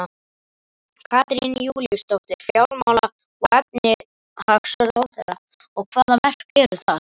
Katrín Júlíusdóttir, fjármála-og efnahagsráðherra: Og, hvaða verk eru það?